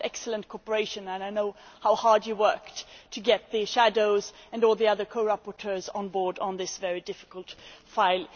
We have had excellent cooperation and I know how hard he worked to get the shadows and all the other co rapporteurs on board on this very difficult file.